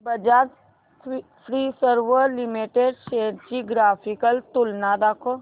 Bajaj Finserv limited shares ची graphical तुलना दाखव